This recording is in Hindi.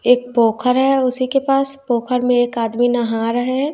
एक पोखर है उसी के पास पोखर में एक आदमी नहा रहे है।